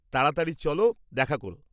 তাড়াতাড়ি চলো দেখা করো।